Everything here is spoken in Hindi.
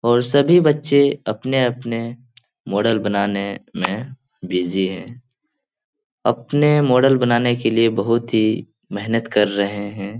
और सभी बच्चे अपने-अपने मॉडल बनाने में बिजी हैं। अपने मॉडल बनाने के लिए बहुत ही मेहनत कर रहें हैं।